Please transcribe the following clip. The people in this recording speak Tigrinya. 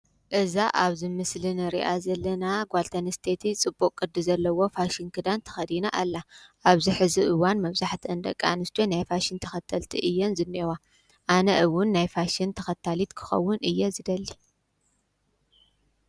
እዛ አብዚ ምስሊ ንሪአ ዘለና ጓል ተንስተይቲ ፅቡቅ ቅዲ ዘለዎ ፋሽን ክዳን ተኸዲና አላ። አብዚ ሕዚ እዋን መብዛሕቲአን ደቂ አንስትዮ ናይ ፋሽን ተኸተልቲ እየን ዝኒአዋ። አነ’ውን ናይ ፋሽን ተኸታሊት ክኸውን እየ ዝደሊ።